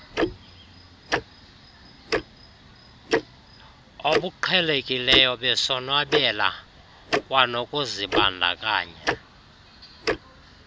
obuqhelekileyo besonwabela kwanokuzibandakanya